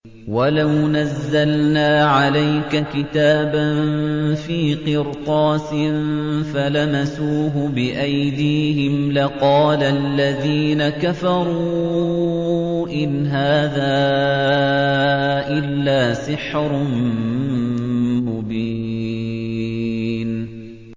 وَلَوْ نَزَّلْنَا عَلَيْكَ كِتَابًا فِي قِرْطَاسٍ فَلَمَسُوهُ بِأَيْدِيهِمْ لَقَالَ الَّذِينَ كَفَرُوا إِنْ هَٰذَا إِلَّا سِحْرٌ مُّبِينٌ